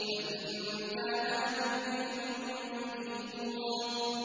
فَإِن كَانَ لَكُمْ كَيْدٌ فَكِيدُونِ